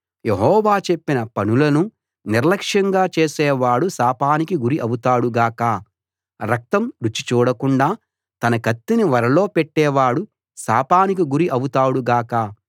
యెహోవా చెప్పిన పనులను నిర్లక్ష్యంగా చేసేవాడు శాపానికి గురి అవుతాడు గాక రక్తం రుచి చూడకుండా తన కత్తిని వరలో పెట్టేవాడు శాపానికి గురి అవుతాడు గాక